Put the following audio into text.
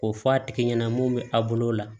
K'o fɔ a tigi ɲɛna mun bɛ a bolo la